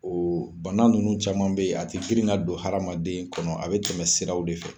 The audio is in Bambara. bana ninnu caman bɛ yen a ti girin ka don haramaden kɔnɔ a bɛ tɛmɛ siraw de fɛ.